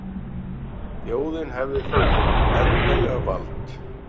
Þjóðin hefði þá hið endanlega vald